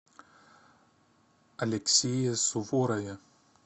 алексее суворове